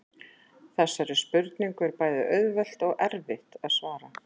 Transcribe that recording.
Þessari spurningu er bæði auðvelt og erfitt að svara.